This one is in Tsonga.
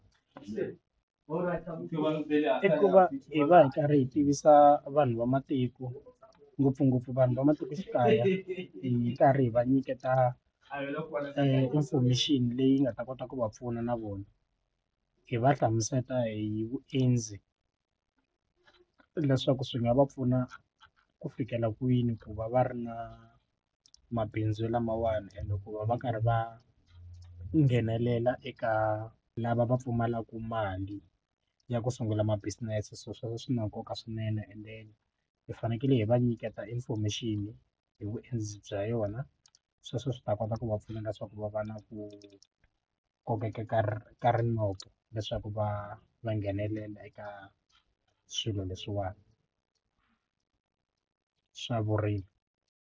I ku va hi karhi hi tivisa vanhu va matiko ngopfungopfu vanhu va matikoxikaya hi karhi hi va nyiketa information leyi nga ta kota ku va pfuna na vona hi va hlamusela hi vuendzi leswaku swi nga va pfuna ku fikela kwini ku va va ri na mabindzu lamawani ende ku va va karhi va nghenelela eka lava va pfumalaka mali ya ku sungula ma business so sweswo swi na nkoka swinene and then hi fanekele hi va nyiketa information hi vuendzi bya yona sweswo swi ta kota ku va pfuna ka swaku va va na ku ku kokeka ka ka rinoko leswaku va va nghenelela eka swilo leswiwani swa vurimi.